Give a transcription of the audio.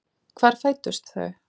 Hvar fæddust þau?